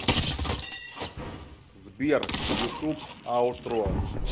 сбер ютуб аутро